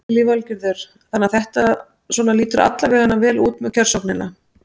Lillý Valgerður: Þannig að þetta svona lítur alla veganna vel út með kjörsóknina?